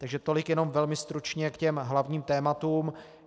Takže tolik jenom velmi stručně k těm hlavním tématům.